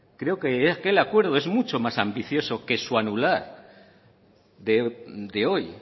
creo que aquel acuerdo es mucho más ambicioso que su anular de hoy